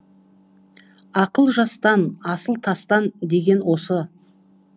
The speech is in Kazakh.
ақыл жастан асыл тастан деген осы